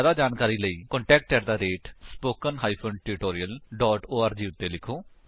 ਜਿਆਦਾ ਜਾਣਕਾਰੀ ਲਈ ਕ੍ਰਿਪਾ ਕੰਟੈਕਟ ਸਪੋਕਨ ਟਿਊਟੋਰੀਅਲ ਓਰਗ ਉੱਤੇ ਲਿਖੋ